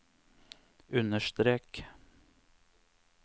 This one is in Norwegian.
understrek